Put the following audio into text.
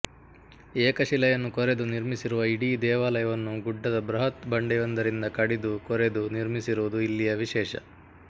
ಏಕಶಿಲೆಯನ್ನು ಕೊರೆದು ನಿರ್ಮಿಸಿರುವ ಇಡೀ ದೇವಾಲಯವನ್ನು ಗುಡ್ಡದ ಬೃಹತ್ ಬಂಡೆಯೊಂದರಿಂದ ಕಡಿದು ಕೊರೆದು ನಿರ್ಮಿಸಿರುವುದು ಇಲ್ಲಿಯ ವಿಶೇಷ